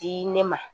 Di ne ma